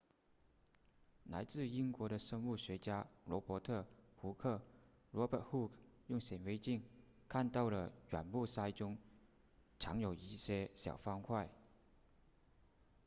来自英国的生物学家罗伯特胡克 robert hooke 用显微镜看到了软木塞中藏有一些小方块